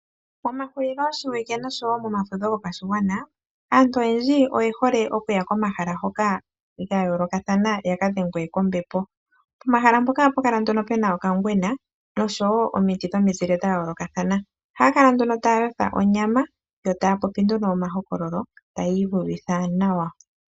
Momahuliloshiwike noshowo momafudho gopashigwana, aantu oyendji oye hole okuya komahala gomainyanyudho ga yoolokathana ya ka dhengwe kombepo. Pomahala mpoka ohapu kala pu na okangwena nosho omiti dhomizile dha yoolokathana. Ohaa kala taa yotha onyama, yo taa popi nduno omahokololo taya iuvitha nawa.